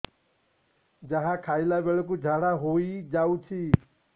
ଯାହା ଖାଇଲା ବେଳକୁ ଝାଡ଼ା ହୋଇ ଯାଉଛି